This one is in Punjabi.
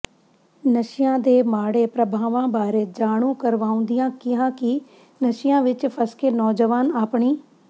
ਨਸਿ਼ਆਂ ਦੇ ਮਾੜੇ ਪ੍ਰਭਾਵਾਂ ਬਾਰੇ ਜਾਣੂ ਕਰਵਾਉਂਦਿਆਂ ਕਿਹਾ ਕਿ ਨਸਿ਼ਆਂ ਵਿੱਚ ਫਸਕੇ ਨੋਜਵਾਨ ਆਪਣੀ